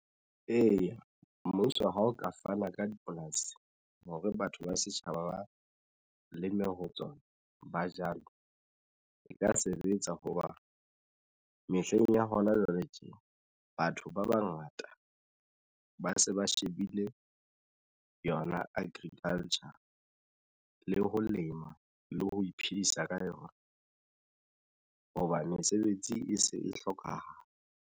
Eya mmuso ha o ka fana ka dipolasi hore batho ba setjhaba ba leme ho tsona. Ba jalo e ka sebetsa hoba mehleng ya hona jwale tje batho ba bangata ba se ba shebile yona agriculture le ho lema le ho iphedisa ka yona hoba mesebetsi e se e hlokahala.